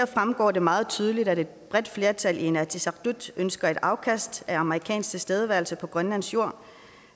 fremgår det meget tydeligt at et bredt flertal i inatsisartut ønsker et afkast af amerikansk tilstedeværelse på grønlandsk jord